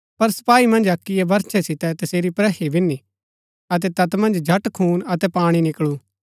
पर सपाई मन्ज अक्कीयै बरछे सितै तसेरी प्रहि बिन्नि अतै तैत मन्ज झट खून अतै पाणी निकळू